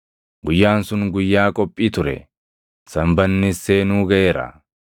Guyyaan sun Guyyaa qophii ture; Sanbannis seenuu gaʼeera.